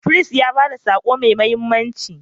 Firist ya ba da sako mai mahimmanci.